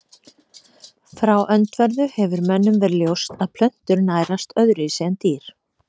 Frá öndverðu hefur mönnum verið ljóst að plöntur nærast öðruvísi en dýr.